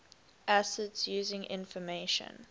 acids using information